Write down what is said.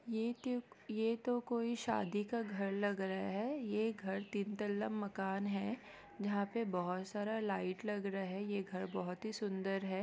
ये तो ये तो कोई शादी का घर लग रहे है ये घर तीन तल्ला मकान है जहां पे बहुत सारा लाइट लग रहे है ये घर बहुत ही सुंदर है।